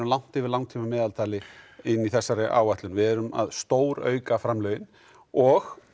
langt yfir langtíma meðaltali inn í þessari áætlun við erum að stórauka framlögin og